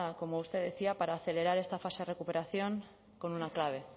como usted decía para acelerar esta fase de recuperación con una clave